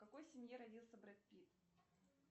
в какой семье родился бред питт